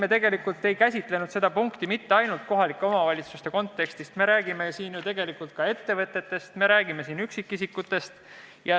Me tegelikult ei käsitlenud seda punkti mitte ainult kohalike omavalitsuste kontekstis, vaid me räägime ju ka ettevõtetest ja üksikisikutest.